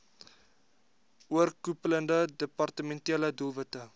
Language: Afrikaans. oorkoepelende departementele doelwitte